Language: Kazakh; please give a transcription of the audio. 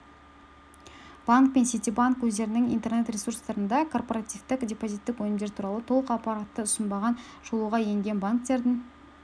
банк пен ситибанк өздерінің интернет ресурстарында корпоративтік депозиттік өнімдер туралы толық ақпаратты ұсынбаған шолуға енген банктердің